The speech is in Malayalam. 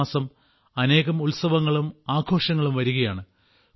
അടുത്തമാസം അനേകം ഉത്സവങ്ങളും ആഘോഷങ്ങളും വരികയാണ്